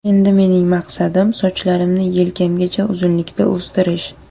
Endi mening maqsadim sochlarimni yelkalarimgacha uzunlikda o‘stirish.